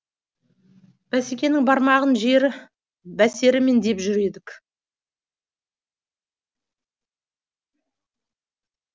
бәсекенің бармаған жері бәсіре ме деп жүр едік